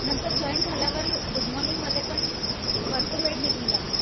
नंतर जाँईन झाल्यावर पण गुड मॉर्निंग मध्येपण भरपूर वेळ निघून जातो